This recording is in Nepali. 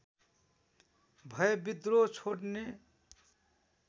भए विद्रोह छोड्ने